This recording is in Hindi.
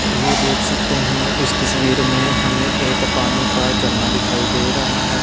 ये देख सकते हैं इस तस्वीर में हमें एक पानी का झरना दिखाई दे रहा है।